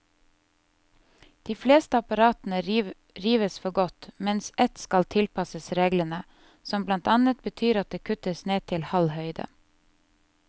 De fleste apparatene rives for godt, mens ett skal tilpasses reglene, som blant annet betyr at det kuttes ned til halv høyde.